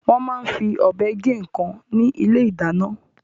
Wọ́n máa ń fi ọ̀bẹ gé nǹkan ní ilé-ìdáná.